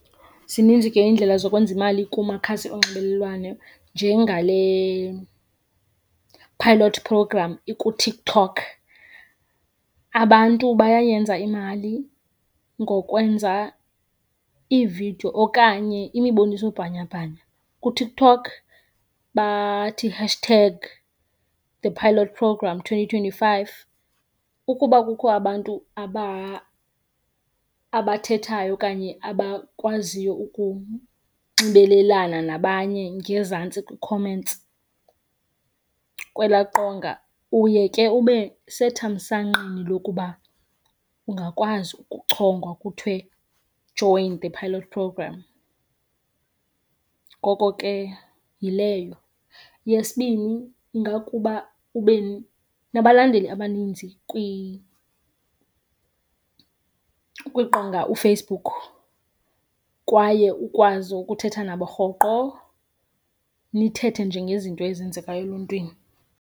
Zininzi ke iindlela zokwenza imali kumakhasi onxibelelwano njengale-pilot program ikuTikTok. Abantu bayayenza imali ngokwenza iividiyo okanye imibonisobhanyabhanya kuTikTok bathi hashtag the pilot program twenty twenty-five. Ukuba kukho abantu abathethayo okanye abakwaziyo ukunxibelelana nabanye ngezantsi kwii-comments kwelaa qonga, uye ke ube sethamsanqeni lokuba ungakwazi ukuchongwa kuthiwe join the pilot program, ngoko ke yileyo. Yesibini, ingakuba ube nabalandeli abaninzi kwiqonga uFacebook kwaye ukwazi ukuthetha nabo rhoqo, nithethe nje ngezinto ezenzekayo eluntwini.